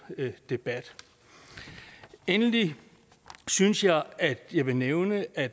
debat endelig synes jeg at jeg vil nævne at